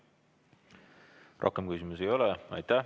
Rohkem küsimusi ei ole.